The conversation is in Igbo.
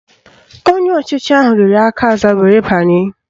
Onye ọchịchị ahụ riri aka aza were banye